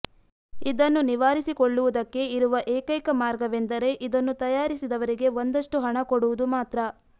ಇದನ್ನು ನಿವಾರಿಸಿಕೊಳ್ಳುವುದಕ್ಕೆ ಇರುವ ಏಕೈಕ ಮಾರ್ಗವೆಂದರೆ ಇದನ್ನು ತಯಾರಿಸಿದವರಿಗೆ ಒಂದಷ್ಟು ಹಣ ಕೊಡುವುದು ಮಾತ್ರ